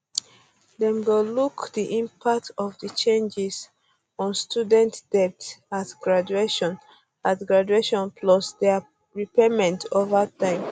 dem go look di impact of di changes on students debt at graduation at graduation plus dia repayments over um time